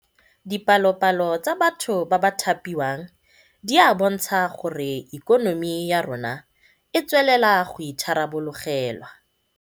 Dipalopalo tsa batho ba ba thapiwang di a bontsha gore ikonomi ya rona e tswelela go itharabologelwa